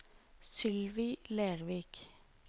Sylvi Lervik